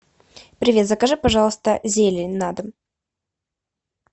привет закажи пожалуйста зелень на дом